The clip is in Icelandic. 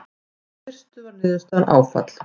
Í fyrstu var niðurstaðan áfall.